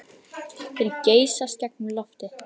Þeir geysast gegnum loftið.